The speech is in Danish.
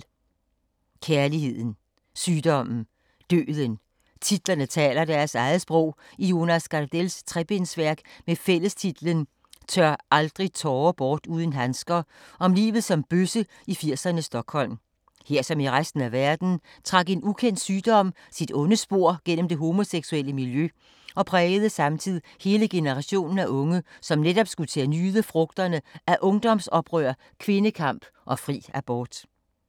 Kærligheden. Sygdommen. Døden. Titlerne taler deres eget sprog i Jonas Gardells trebindsværk med fællestitlen Tør aldrig tårer bort uden handsker, om livet som bøsse i 80’ernes Stockholm. Her, som i resten af verden, trak en ukendt sygdom sit onde spor gennem det homoseksuelle miljø, og prægede samtidig hele generationen af unge, som netop skulle til at nyde frugterne af ungdomsoprør, kvindekamp og fri abort.